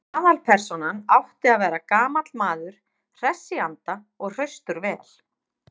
Aðalpersónan átti að vera gamall maður, hress í anda og hraustur vel.